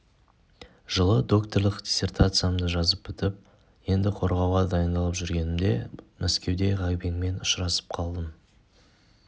жылы докторлық диссертациямды жазып бітіп енді қорғауға дайындалып жүргенімде мәскеуде ғабеңмен ұшырасып қалдым